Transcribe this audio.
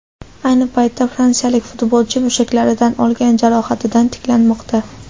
Ayni paytda fransiyalik futbolchi mushaklaridan olgan jarohatidan tiklanmoqda .